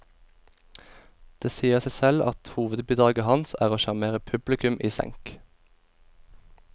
Det sier seg selv at hovedbidraget hans er å sjarmere publikum i senk.